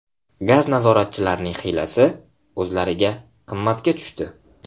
Gaz nazoratchilarining hiylasi o‘zlariga qimmatga tushdi.